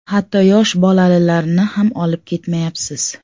Hatto yosh bolalilarni ham olib ketmayapsiz.